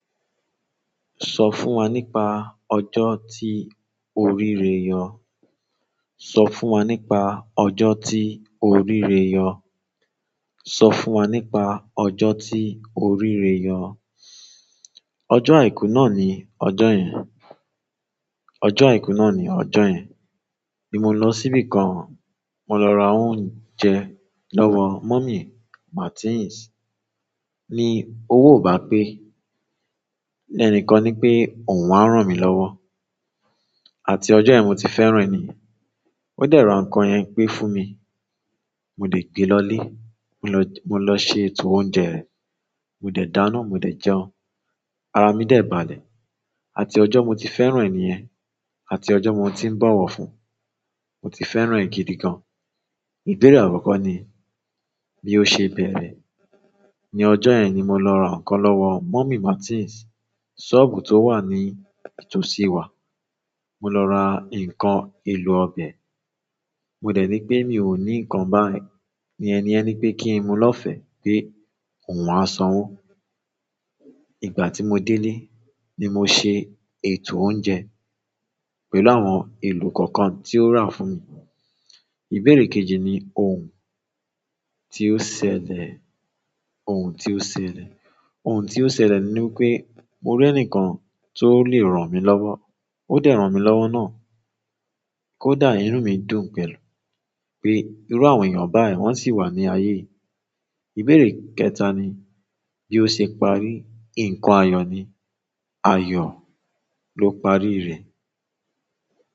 So fún wa nípa ojo ti o ri ire yo. Sọ fún wa nípa ọjọ́ tí o ríre yọ. Sọ fún wa nípa ọjọ́ tí o ríre yọ. Ọjọ́ àìkú náà ni ọjọ́ yẹn. Ọjọ́ àìkú náà ni ọjọ́ yẹn. Ni mo lo sibi kan, mo lo ra oúnjẹ lowo mummy Martins ni owo o ba pe ni enikan ni pe oun a ran mi lowo àti ọjọ́ yẹn mo ti fẹ́ràn ẹni. Ó dẹ̀ ra nǹkan yẹn pé fún mi. Mo dé gbe lọlé. Mo lọ, mo lọ ṣe ètò oúnjẹ yẹ̀n. Mo dẹ̀ dáná, mo dẹ̀ jẹun. Ara mi dẹ̀ balẹ̀. Àti ọjọ́ mo ti fẹ́ràn ẹniyẹn. Àti ọjọ́ mo ti ń bowọ fún. Mo ti fẹ́ràn ẹ́ gidi gan. Ìbéèrè àkọ́kọ́ ni, bí ó ṣe bẹ̀rẹ̀? Ní ọjọ́ yẹn ni mo lọ ra nǹkan lọ́wọ Mummy Martins. Sọ́ọ̀bù tó wà ní itòsí wa. Mo lọ ra nǹkan, èlò ọbẹ̀. Mo dẹ̀ ní pé mi ò ní nǹkan báyi ni ẹniyen ni pé kí n mu lọ́fẹ̀ẹ́ pé òun a sanwó. Ìgbà tí mo délé ni mo ṣe ètò oúnjẹ pẹ̀lú àwọn èlò kọ̀ọ̀kan tí ó rà fún mi. Ìbéèrè kejì ni ohun tí ó ṣẹlẹ̀, ohun tí ó ṣẹlẹ̀, ohun tí ó ṣẹlẹ̀ ni wipé mo rí ẹnìkan tó lè ràn mí lọ́wọ́. Ó dẹ̀ ran mi lọ́wọ́ náà. Kódà inú mi dún pẹ̀lú pé irú àwọn èèyàn báyìí wọ́n sì wà ní ayé yìí. Ìbéèrè kẹta ni bí ó ṣe parí. Ǹnkan ayọ̀ ni, ayọ̀ ló pàri rẹ̀.